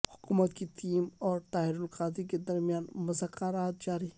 حکومت کی ٹیم اور طاہر القادری کے درمیان مذاکرات جاری